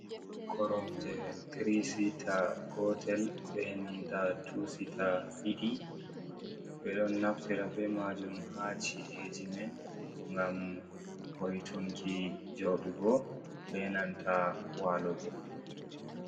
Korom je trisita gotel benanta tusita ɗiɗi ɓeɗon naftira be majum ha ci’e eji man gam bo'itunki joɗugo benanta walugo.